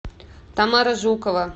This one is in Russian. тамара жукова